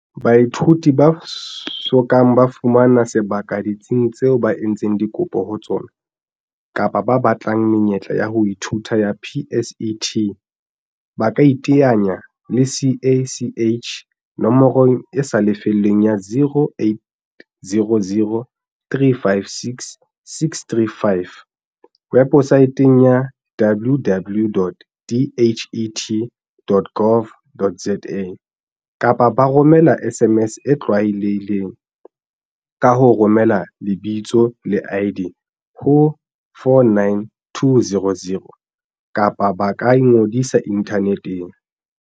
Baithuti ba so kang ba fumana sebaka ditsing tseo ba entseng dikopo ho tsona, kapa ba batlang menyetla ya ho ithuta ya PSET, ba kaiteanya le CACH nomorong e sa lefellweng ya, 0800 356 635, webosaeteng ya, www.dhet.gov.za, kapa ba romela SMS e tlwaelehileng, ka ho romela lebitsole ID ho 49200, kapa ba ka ingodisa inthaneteng.